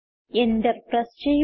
enter press ചെയ്യുക